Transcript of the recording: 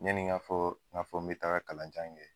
Yani n ka fɔ, ka fɔ n be taga kalan jan kɛ